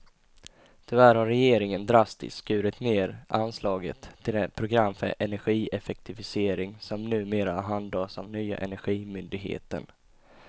Tyvärr har regeringen drastiskt skurit ned anslaget till det program för energieffektivisering som numera handhas av nya energimyndigheten.